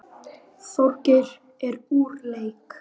Þorgeir er úr leik.